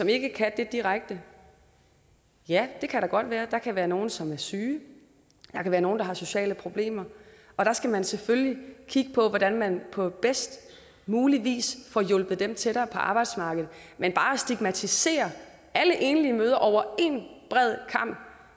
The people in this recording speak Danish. ikke kan det direkte ja det kan der godt være der kan være nogle som er syge og være nogle der har sociale problemer og der skal man selvfølgelig kigge på hvordan man på bedst mulig vis får hjulpet dem tættere på arbejdsmarkedet men bare at stigmatisere alle enlige mødre over en bred kam